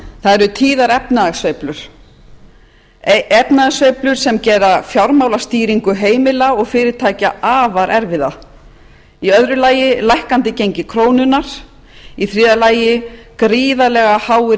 það eru tíðar efnahagssveiflur sem gera fjármálastýringu heimila og fyrirtækja afar erfiða í öðru lagi lækkandi gengi krónunnar í þriðja lagi gríðarlega háir